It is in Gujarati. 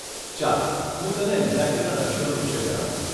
ચાલ હું તને એંગ્ઝાયટીના લક્ષણો વિષે જણાવું.